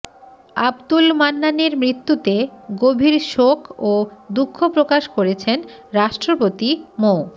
আব্দুল মান্নানের মৃত্যুতে গভীর শোক ও দুঃখ প্রকাশ করেছেন রাষ্ট্রপতি মো